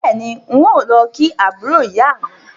Bẹ́ẹ̀ni, n ó lọ kí àbúrò ìyá mi